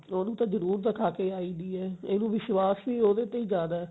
ਉਹਨੂੰ ਤਾਂ ਜਰੂਰ ਦਿਖਾ ਕੇ ਆਈ ਦੀ ਹੈ ਇਹਨੂੰ ਵਿਸ਼ਵਾਸ਼ ਹੀ ਉਹਦੇ ਤੇ ਜਿਆਦਾ